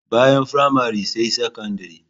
Bayan firamare sai sakandire.